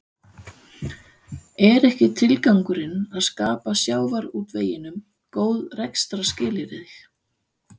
Er ekki tilgangurinn að skapa sjávarútveginum góð rekstrarskilyrði?